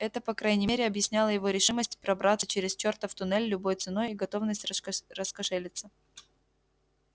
это по крайней мере объясняло его решимость пробраться через чертов туннель любой ценой и готовность рас раскошелиться